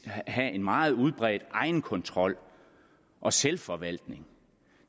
have en meget udbredt egenkontrol og selvforvaltning